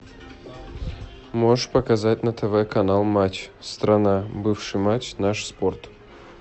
можешь показать на тв канал матч страна бывший матч наш спорт